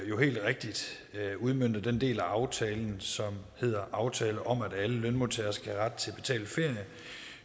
jo helt rigtigt udmønter den del af aftalen som hedder aftale om at alle lønmodtagere skal have ret til betalt ferie